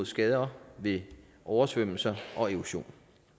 skader ved oversvømmelser og erosion